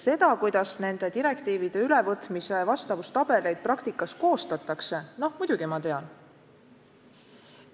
Seda, kuidas nende direktiivide ülevõtmise vastavustabeleid praktikas koostatakse, ma muidugi tean.